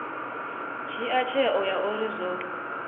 dzhia tsheo ya uri zwo